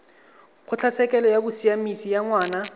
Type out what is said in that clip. kgotlatshekelo ya bosiamisi ya ngwana